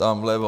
Tam vlevo.